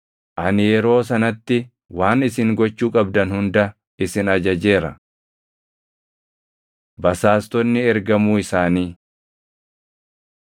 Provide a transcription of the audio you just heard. Ani yeroo sanatti waan isin gochuu qabdan hunda isin ajajeera. Basaastonni Ergamuu isaanii